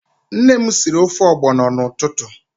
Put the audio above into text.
Nne m sịrị ofe ogbono n'ụtụtụ.